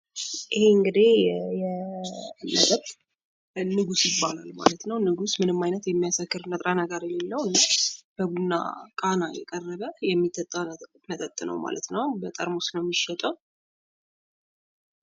ይህ እንግዲህ የመጠጥ ንጉስ ይባላል ማለት ነው ንጉስ ምንም ዓይነት የሚያሰክር ንጥረ ነገር የሌለው እና በቡና ቃና የቀረበ የሚጠጣ መጠጥነው ማለት ነው። በጠርሙስ ነው የሚሸጠው።